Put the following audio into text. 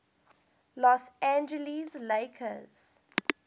los angeles lakers